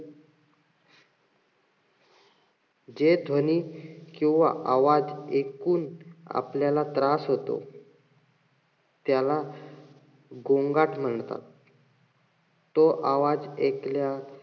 जे ध्वनी किंवा आवाज एकूण आपल्याला त्रास होतो. त्याला गोंगाट म्हणतात. तो आवाज एकल्या,